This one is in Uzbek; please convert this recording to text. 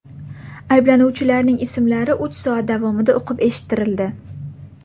Ayblanuvchilarning ismlari uch soat davomida o‘qib eshittirildi.